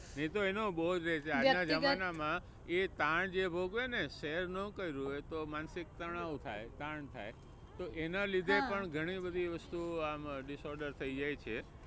એ તો એનો બોજ. આજ ના જમાના માં એ તાણ જે ભોગવે ને share નો કર્યું હોય તો માનસિક તણાવ થાય, તાણ થાય તો એના લીધે પણ ઘણી બધી વસ્તુ આમ disorder થઇ જાય છે